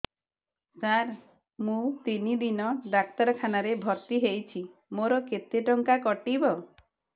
ସାର ମୁ ତିନି ଦିନ ଡାକ୍ତରଖାନା ରେ ଭର୍ତି ହେଇଛି ମୋର କେତେ ଟଙ୍କା କଟିବ